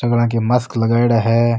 Mask लगाएड़ा है।